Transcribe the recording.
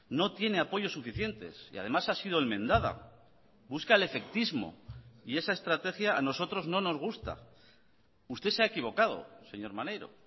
no tiene apoyos suficientes y además ha sido enmendada busca el efectismo y esa estrategia a nosotros no nos gusta usted se ha equivocado señor maneiro